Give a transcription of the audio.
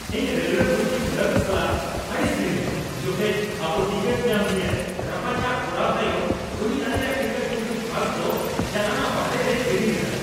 ᱤᱧ railway booking clerk ᱥᱟᱞᱟᱜ ᱟᱹᱲᱤᱥ ᱞᱤᱱᱟᱹᱧ ᱡᱚᱠᱷᱮᱡ ᱚᱵᱚ ᱴᱤᱠᱤᱴ ᱧᱟᱢ ᱱᱤᱭᱮ ᱨᱟᱯᱟᱪᱟᱜ ᱠᱚᱨᱟᱣ ᱛᱟᱭᱚᱢ ᱩᱱᱤ ᱟᱞᱮᱭᱟᱜ ᱴᱤᱠᱤᱴ ᱵᱩᱠᱤᱝ ᱯᱷᱚᱨᱢ ᱫᱚ ᱡᱟᱱᱟᱞᱟ ᱵᱟᱦᱨᱮ ᱨᱮᱭ ᱜᱤᱰᱤ ᱞᱮᱫᱟ ᱾